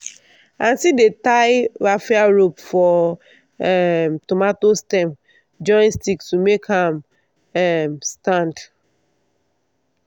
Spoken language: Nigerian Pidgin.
aunty dey tie raffia rope for um tomato stem join stick to make am um stand.